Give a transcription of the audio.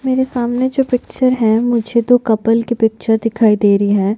मेरे सामने जो पिक्चर है मुझे दो कपल की पिक्टर दिखाई दे रही है।